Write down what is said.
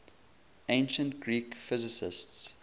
ancient greek physicists